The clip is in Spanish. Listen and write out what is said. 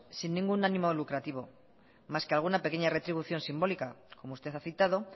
sin ningún ánimo lucrativo más que alguna pequeña retribución simbólica como usted ha citado